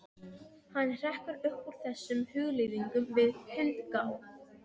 Hann hrekkur upp úr þessum hugleiðingum við hundgá.